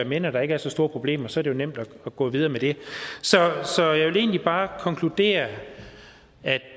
med når der ikke er så store problemer så er det nemt at gå videre med det så jeg vil egentlig bare konkludere at jeg